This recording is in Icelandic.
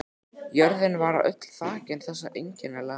Jörðin var öll þakin þessari einkennilegu möl.